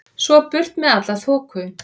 Svo burt með alla þoku.